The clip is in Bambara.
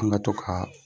An ka to ka